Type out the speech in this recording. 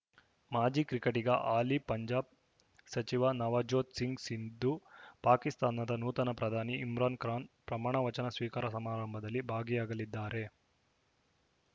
ಮಾಜಿ ಕ್ರಿಕೆಟಿಗ ಹಾಲಿ ಪಂಜಾಬ್‌ ಸಚಿವ ನವಜೋತ್‌ ಸಿಂಗ್‌ ಸಿಧು ಪಾಕಿಸ್ತಾನದ ನೂತನ ಪ್ರಧಾನಿ ಇಮ್ರಾನ್‌ಖಾನ್‌ ಪ್ರಮಾಣವಚನ ಸ್ವೀಕಾರ ಸಮಾರಮಭದಲ್ಲಿ ಭಾಗಿಯಾಗಲಿದ್ದಾರೆ